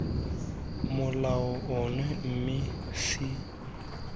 molao ono mme ce akaretse